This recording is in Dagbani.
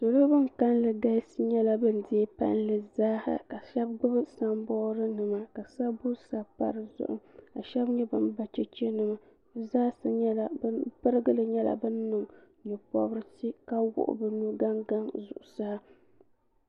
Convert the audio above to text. salo bin kanli galisi nyɛla bin deei palli zaaha ka shab gbubi sanbood nima ka sabbu sabi pa dizuɣu ka shab nyɛ bin ba chɛchɛ nima bi pirigili nyɛla bin niŋ nyɛ pobirisi ka wuɣi bi nu gaŋgaŋ zuɣusaa